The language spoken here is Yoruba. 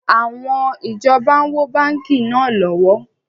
Àwọn ìjọba ń wó báńkì náà lọ́wọ́